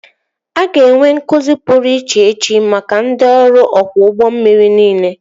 A ga-enwe nkụzi pụrụ iche echi maka ndị ọrụ ọkwọ ụgbọ mmiri niile